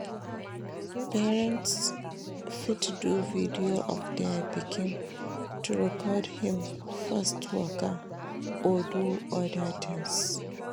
Parents fit do video of their pikin to record when im first waka or do other things